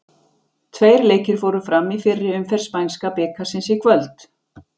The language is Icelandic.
Tveir leikir fóru fram í fyrri umferð spænska bikarsins í kvöld.